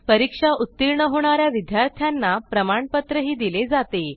परीक्षा उत्तीर्ण होणा या विद्यार्थ्यांना प्रमाणपत्रही दिले जाते